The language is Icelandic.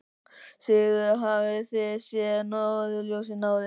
Sigríður: Hafið þið séð norðurljós áður?